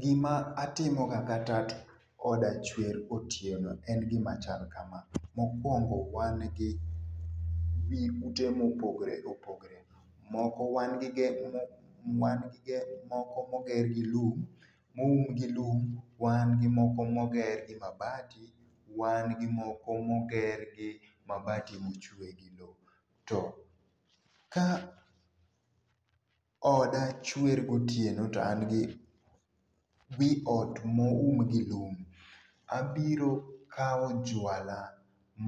Gima atimo ga ka tat oda chwer otieno en gima chal kama. Mokwongo wan gi wi ute mopogore opogore. Moko wan gi moko moger gi lum moum gi lum, wan gi moko moger gi mabati, wan gi moko moger gi mabati mochwe gi lo. To ka oda chwer gotieno to an gi wi ot moum gi lum, abiro kawo jwala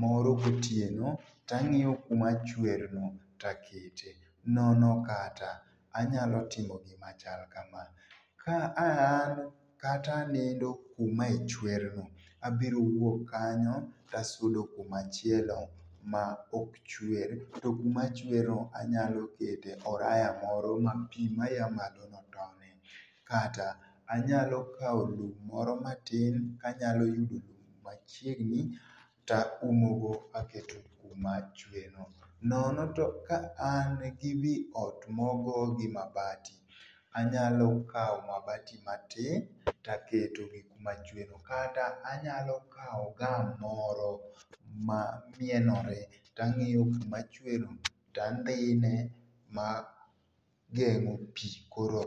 moro gotieno to ang'iyo kuma chwer no to akete. Nono kata anyalo timo gima chal ka ma, ka an kata anindo kuma e chwer no abiro wuok kanyo to asudo kuma chielo ma ok chwer to kuma chwer no anyalo kete oraya moro mapi maya malo no tonie kata anyalo kawo lo moro matin manyalo yudu lum machiegni to aumo go kaketo kuma chwer no. Nono to ka an gi wi ot mogo gi mabati anyalo kawo mabati matin to aketo e kuma chwer no kata anyalo kawo gum moro ma mienore to ang'iyo kuma chewrno to andhine ma gemo pi koro